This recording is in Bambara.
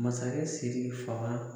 Masakɛ siki fanga